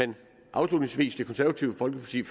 afslutningsvis forventer det konservative folkeparti